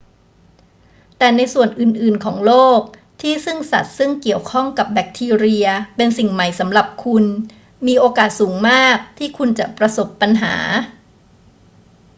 แต่ในส่วนอื่น ๆ ของโลกที่ซึ่งสัตว์ซึ่งเกี่ยวข้องกับแบคทีเรียเป็นสิ่งใหม่สำหรับคุณ มีโอกาสสูงมากที่คุณจะประสบปัญหา